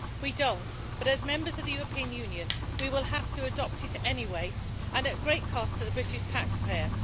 We do not, but as members of the European Union we will have to adopt it anyway, and at great cost to the British taxpayer.